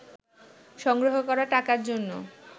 সংগ্রহ করা টাকার জন্য